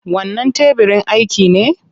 Wannan tebirin aiki ne?